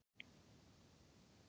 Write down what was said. Því var hafnað